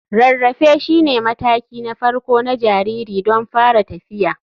Rarrafe shine mataki na farko na jariri don fara tafiya.